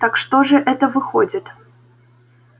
так что же это выходит